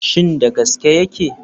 Shin da gaske yake?